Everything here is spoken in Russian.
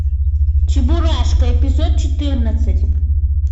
чебурашка эпизод четырнадцать